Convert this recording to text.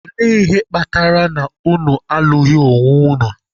Ole ihe kpatara na unu alụghị onwe unu?